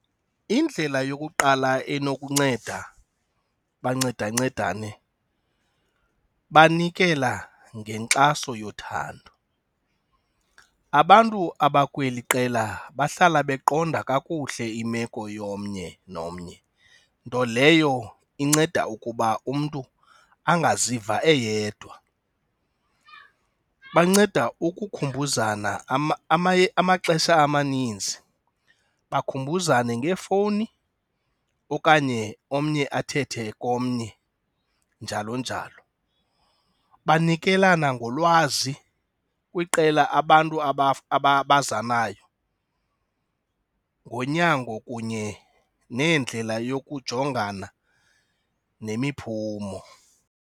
Indlela yokuqala enokunceda bancedancedane banikela ngenkxaso yothando. Abantu abakweli qela bahlala beqonga kakuhle imeko yomnye nomnye, nto leyo inceda ukuba umntu angaziva eyedwa, banceda ukukhumbuzana amaxesha amaninzi, bakhumbuzene ngeefowuni okanye omnye athethe komnye njalo njalo. Banikelana ngolwazi kwiqela abantu aba aba abaza nayo ngonyango kunye nendlela yokujongana nemiphumo.